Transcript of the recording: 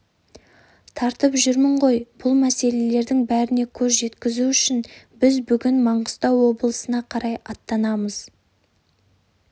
тартып жүрмін ғойбұл мәселелердің бәріне көз жеткізу үшін біз бүгін маңғыстау облысына қарай аттанамыз